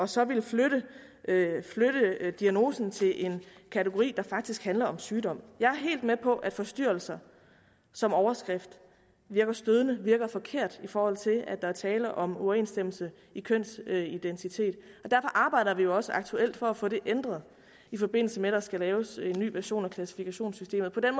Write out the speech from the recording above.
så at ville flytte diagnosen til en kategori der faktisk handler om sygdom jeg er helt med på at forstyrrelser som overskrift virker stødende virker forkert i forhold til at der er tale om uoverensstemmelse i kønsidentitet og derfor arbejder vi jo også aktuelt for at få det ændret i forbindelse med at der skal laves en ny version af klassifikationssystemet på den